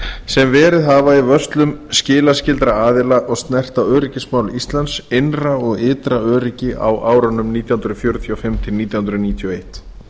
sem verið hafa í vörslum skilaskyldra aðila og snerta öryggismál íslands innra og ytra öryggi á árunum nítján hundruð fjörutíu og fimm nítján hundruð níutíu og eitt